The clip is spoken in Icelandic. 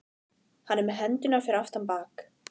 Hann er með hendurnar fyrir aftan bak.